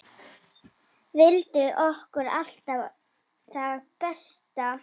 Vildi okkur allt það besta.